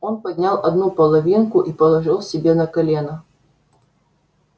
он поднял одну половинку и положил себе на колено